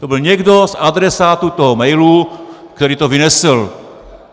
To byl někdo z adresátů toho mailu, který to vynesl.